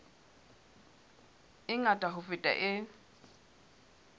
e ngata ho feta e